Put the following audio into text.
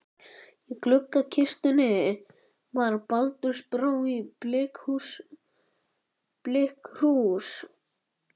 Í gluggakistunni var baldursbrá í blikkkrús.